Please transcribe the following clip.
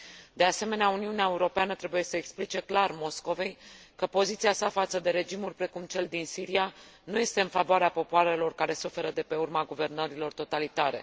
De asemenea, Uniunea Europeană trebuie să explice clar Moscovei că poziția sa față de regimuri precum cel din Siria nu este în favoarea popoarelor care suferă de pe urma guvernărilor totalitare.